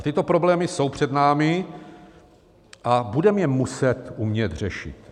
A tyto problémy jsou před námi a budeme je muset umět řešit.